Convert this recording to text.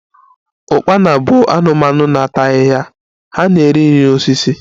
Ukpana bụ anụmanụ na ata ahịhịa, ha na-eri nri na osisi